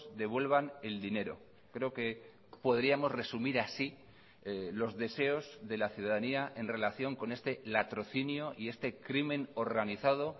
devuelvan el dinero creo que podríamos resumir así los deseos de la ciudadanía en relación con este latrocinio y este crimen organizado